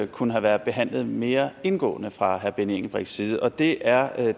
kunne have været behandlet mere indgående fra herre benny engelbrechts side og det er